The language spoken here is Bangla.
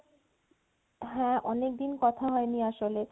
হ্যাঁ অনেকদিন কথা হয়নি আসলে